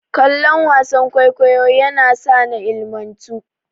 Kallon wasan kwaikwayo yasa na ilimantu.